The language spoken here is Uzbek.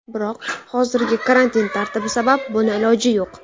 Biroq hozirgi karantin tartibi sabab buni iloji yo‘q.